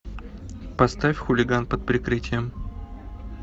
поставь хулиган под прикрытием